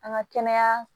An ka kɛnɛya